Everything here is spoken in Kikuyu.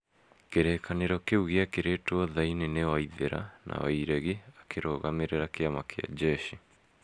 Kĩrĩĩkanĩro kĩu gĩekĩrĩtwo thaĩri nĩ waithira na Wairegi akĩrũgamĩrĩra kĩama kĩa njeshi,